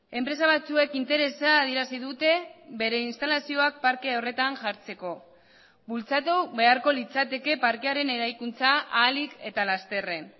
enpresa batzuek interesa adierazi dute bere instalazioak parke horretan jartzeko bultzatu beharko litzateke parkearen eraikuntza ahalik eta lasterren